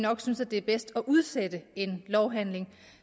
nok synes det er bedst at udsætte en lovhandling